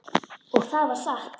Og það var satt.